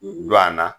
Du an na